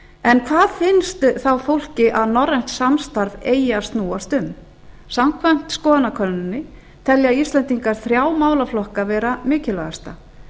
en hvað finnst þá fólki að norrænt samstarf eigi að snúast um samkvæmt skoðanakönnuninni telja íslendingar þrjá málaflokka vera mikilvægasta